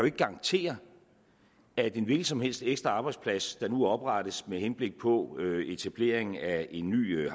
ikke garantere at en hvilken som helst ekstra arbejdsplads der nu oprettes med henblik på etablering af en ny